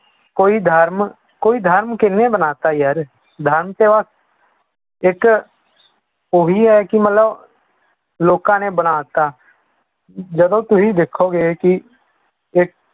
ਕੋਈ ਧਰਮ ਕੋਈ ਧਰਮ ਕਿਹਨੇ ਬਣਾ ਦਿੱਤਾ ਯਾਰ ਧਰਮ ਤੇ ਬਸ ਇੱਕ ਉਹੀ ਹੈ ਕਿ ਮਤਲਬ ਲੋਕਾਂ ਨੇ ਬਣਾ ਦਿੱਤਾ ਜਦੋਂ ਤੁਸੀਂ ਦੇਖੋਗੇ ਕਿ